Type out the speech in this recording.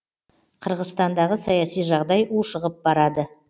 қырғызстандағы саяси жағдай ушығып барады